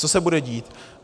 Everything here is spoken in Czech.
Co se bude dít?